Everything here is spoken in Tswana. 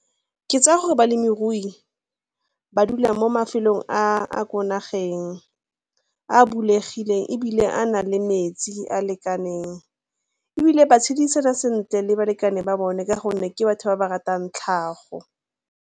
Ke tsaya gore balemirui ba dula mo mafelong a a ko nageng a bulegileng ebile a na le metsi a lekaneng ebile ba tshedisana sentle le balekane ba bone ka gonne ke batho ba ba ratang tlhago.